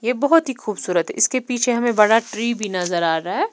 ये बहोत ही खूबसूरत है इसके पीछे हमें बड़ा ट्री भी नजर आ रहा है।